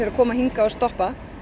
að koma hingað og stoppa